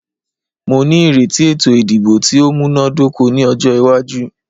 Mó ní ìrètí ètò ìdìbò tí o múná dóko ní ọjọ́ iwájú.